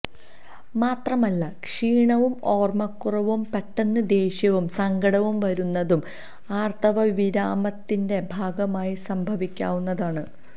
മാത്രമല്ല ക്ഷീണവും ഓര്മ്മക്കുറവും പെട്ടെന്ന് ദേഷ്യവും സങ്കടവും വരുന്നതും ആര്ത്തവവിരാമത്തിന്റെ ഭാഗമായി സംഭവിക്കാവുന്നതാണ്